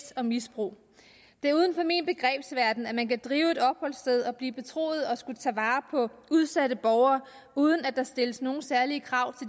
og misbrug det er uden for min begrebsverden at man kan drive et opholdssted og blive betroet at skulle tage vare på udsatte borgere uden at der stilles nogen særlige krav